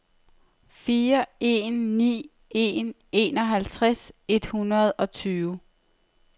fire en ni en enoghalvtreds et hundrede og tyve